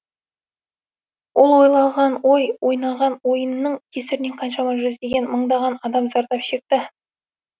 ол ойлаған ой ойнаған ойынның кесірінен қаншама жүздеген мыңдаған адам зардап шекті